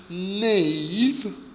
nave